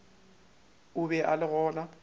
o be a le gona